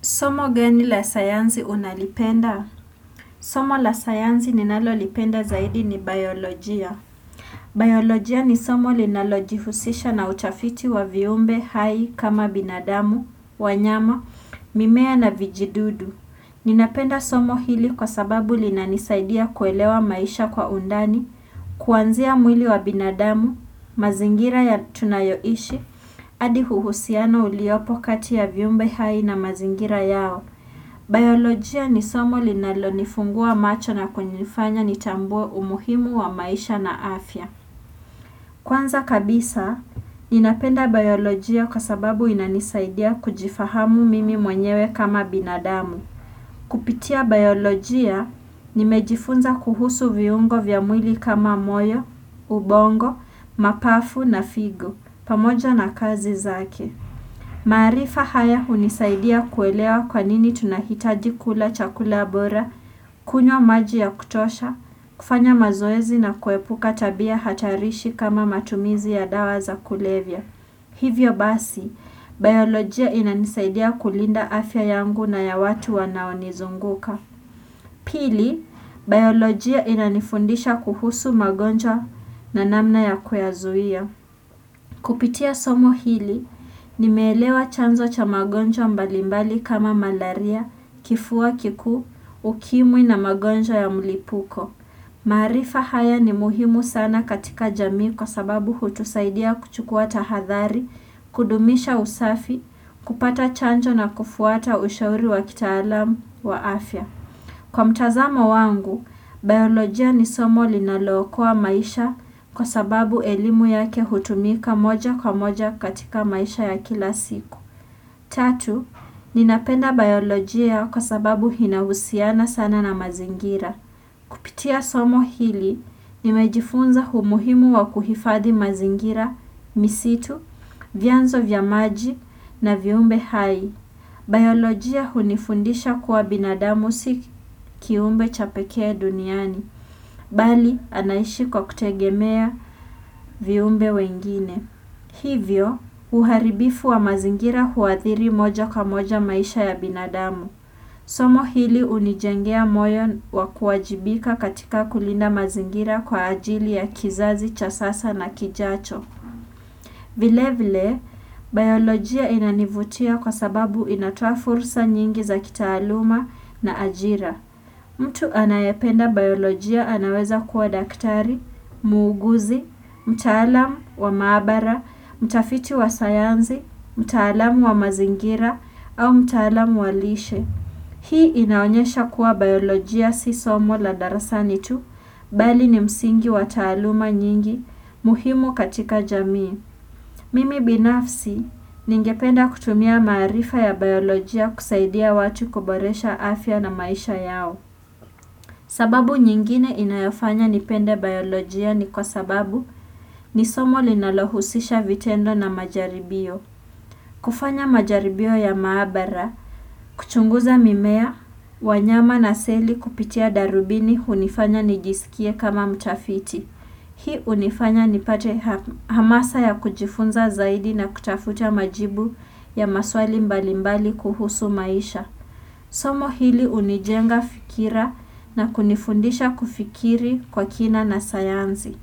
Somo gani la sayansi unalipenda? Somo la sayansi ninalolipenda zaidi ni biolojia. Biolojia ni somo linalojihusisha na utafiti wa viumbe hai kama binadamu, wanyama, mimea na vijidudu. Ninapenda somo hili kwa sababu linanisaidia kuelewa maisha kwa undani, kuanzia mwili wa binadamu, mazingira tunayoishi, hadi uhusiano uliopo kati ya viumbe hai na mazingira yao. Biolojia ni somo linalonifungua macho na kunifanya nitambue umuhimu wa maisha na afya. Kwanza kabisa, ninapenda biolojia kwa sababu inanisaidia kujifahamu mimi mwenyewe kama binadamu. Kupitia biolojia, nimejifunza kuhusu viungo vya mwili kama moyo, ubongo, mapafu na figo, pamoja na kazi zake. Maarifa haya hunisaidia kuelewa kwa nini tunahitaji kula chakula bora, kunywa maji ya kutosha, kufanya mazoezi na kuepuka tabia hatarishi kama matumizi ya dawa za kulevya. Hivyo basi, biolojia inanisaidia kulinda afya yangu na ya watu wanaonizunguka. Pili, biolojia inanifundisha kuhusu magonjwa na namna ya kuyazuia. Kupitia somo hili, nimeelewa chanzo cha magonjwa mbalimbali kama malaria, kifua kikuu, ukimwi na magonjwa ya mlipuko. Maarifa haya ni muhimu sana katika jamii kwa sababu hutusaidia kuchukua tahadhari, kudumisha usafi, kupata chanjo na kufuata ushauri wa kitaalam wa afya. Kwa mtazamo wangu, biolojia ni somo linalookoa maisha kwa sababu elimu yake hutumika moja kwa moja katika maisha ya kila siku. Tatu, ninapenda biolojia kwa sababu inahusiana sana na mazingira. Pitia somo hili, nimejifunza umuhimu wa kuhifathi mazingira, misitu, vianzo vya maji na viumbe hai. Biolojia hunifundisha kuwa binadamu si kiumbe cha pekee duniani, bali anaishi kwa kutegemea viumbe wengine. Hivyo, uharibifu wa mazingira huathiri moja kwa moja maisha ya binadamu. Somo hili hunijengea moyo wa kuwajibika katika kulinda mazingira kwa ajili ya kizazi, cha sasa na kijacho. Vile vile, biolojia inanivutia kwa sababu inatoa furusa nyingi za kitaaluma na ajira. Mtu anayependa biolojia anaweza kuwa daktari, muuguzi, mtaalamu wa maabara, mtafiti wa sayansi, mtaalamu wa mazingira au mtaalamu wa lishe. Hii inaonyesha kuwa biolojia si somo la darasani tu, bali ni msingi wa taaluma nyingi muhimu katika jamii. Mimi binafsi ningependa kutumia maarifa ya biolojia kusaidia watu kuboresha afya na maisha yao. Sababu nyingine inayofanya nipende biolojia ni kwa sababu ni somo linalohusisha vitendo na majaribio. Kufanya majaribio ya maabara, kuchunguza mimea, wanyama na seli kupitia darubini hunifanya nijisikie kama mtafiti. Hii hunifanya nipate hamasa ya kujifunza zaidi na kutafuta majibu ya maswali mbalimbali kuhusu maisha. Somo hili hunijenga fikira na kunifundisha kufikiri kwa kina na sayansi.